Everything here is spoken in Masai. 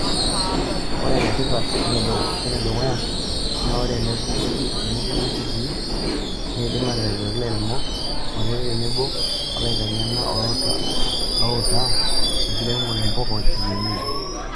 Ore enetipat wenedukuya naa ore enabuku kitii, neidim ataretoi ilairemok kutiti tenebo olaiteng'ena loouta ilairemok mpuka ekienyeji.